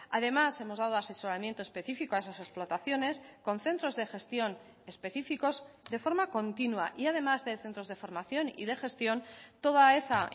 además hemos dado asesoramiento específico a esas explotaciones con centros de gestión específicos de forma continua y además de centros de formación y de gestión toda esa